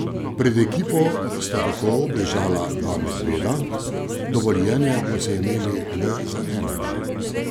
Pred ekipo sta tako obležala dva medveda, dovoljenje pa so imeli le za enega.